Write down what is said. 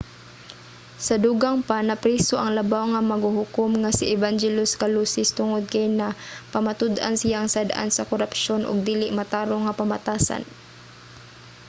sa dugang pa napriso ang labaw nga maghuhukom nga si evangelos kalousis tungod kay napamatud-an siyang sad-an sa korapsyon ug dili matarong nga pamatasan